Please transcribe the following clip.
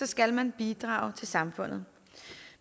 skal man bidrage til samfundet